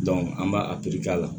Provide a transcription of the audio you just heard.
an b'a a k'a la